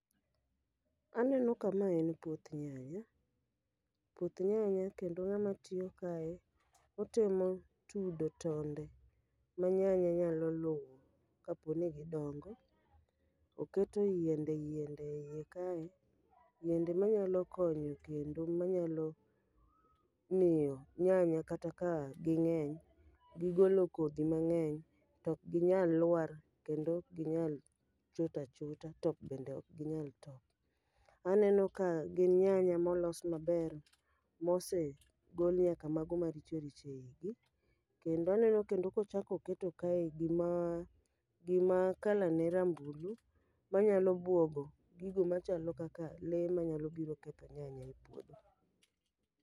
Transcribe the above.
Aneno ka ma en puoth nyanya, puoth nyanya kendo ng'ama tiyo kae otemo tudo tonde ma nyanya nyalo luwo kaponi gidongo. Oketo yiende yiende e iye kae, yiende ma nyalo konyo kendo manyalo miyo nyanya kata ka ging'eny, gigolo kodhi mang'eny to ok ginyal lwar kendo ok ginyal chot achota top bende ok ginyal top. Aneno ka gin nyanya molos maber, mose gol nyaka mago maricho richo e igi. Kendo aneno kendo kochakoketo kae gima gima kala ne rambulu, manyalo bwogo gigo machalo kaka le manyalo biro ketho nyanya e puodho.